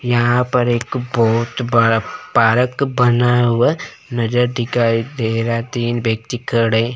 यहां पर एक बहोत बड़ा पारक बना हुआ नजर दिखाई दे रहा तीन व्यक्ति खड़े--